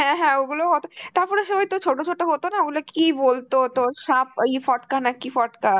হ্যাঁ হ্যাঁ ওইগুলোও অত~ তারপরে সে ওইতো ছোট ছোট হত না, ওইগুলো কি বলতো তোর সাপ~ ওই ফটকা নাকি ফটকা